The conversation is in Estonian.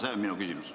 See on minu küsimus.